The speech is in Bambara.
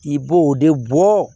I b'o de bɔ